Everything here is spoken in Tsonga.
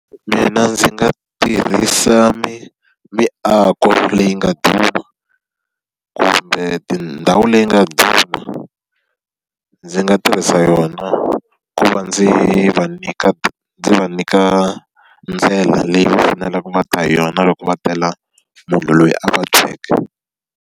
Mina ndzi nga tirhisa miako leyi nga duma, kumbe tindhawu leyi nga duma. Ndzi nga ti yisa yona ku va ndzi va nyika ndzi va nyika ndlela leyi va faneleke va ta hi yona loko va tela munhu loyi a vabyeke.